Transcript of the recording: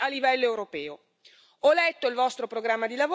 Ho letto il vostro programma di lavoro, ho ascoltato le sue parole.